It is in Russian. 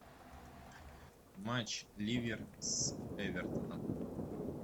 матч ливер с эвертоном